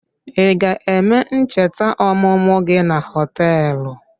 Ị ga-eme ncheta ọmụmụ gị na họtelụ?